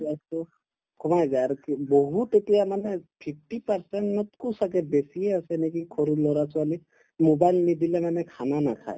কমাই যায় আৰু বহুত এতিয়া মানে fifty percent তকৈ ছাগে বেছিয়ে আছে নেকি সৰু লৰা-ছোৱালী mobile নিদিলে মানে khana নাখায়